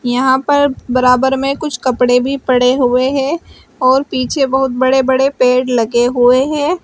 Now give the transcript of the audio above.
यहां पर बराबर में कुछ कपड़े भी पड़े हुए हैं और पीछे बहुत बड़े बड़े पेड़ लगे हुए हैं।